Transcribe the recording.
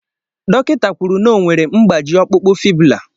Dọkịta kwuru na o nwere mgbaji ọkpụkpụ fibula.